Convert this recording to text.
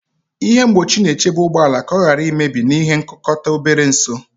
Ihe mgbochi na-echebe ụgbọ ala ka ọ ghara imebi na nkukota obere ọsọ.